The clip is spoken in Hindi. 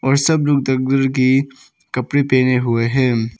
सब लोग दागदर कि कपड़े पहने हुए हैं।